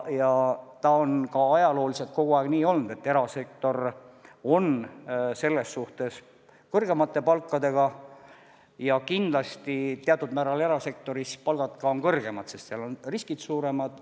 Ja see on ka ajalooliselt kogu aeg nii olnud, et erasektor on kõrgemate palkadega ja kindlasti teatud määral on erasektoris palgad kõrgemad seepärast, et seal on ka riskid suuremad.